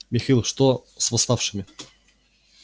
михаил что с восставшими